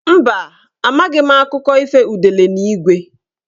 Mba, amaghị m akụkọ ifo udele na ígwé.